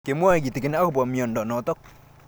Kimwae kitig'in akopo miondo notok